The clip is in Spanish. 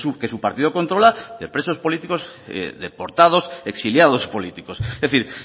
que su partido controla de presos políticos deportados exiliados políticos es decir